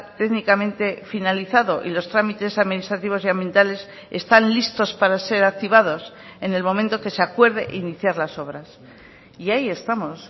técnicamente finalizado y los trámites administrativos y ambientales están listos para ser activados en el momento que se acuerde iniciar las obras y ahí estamos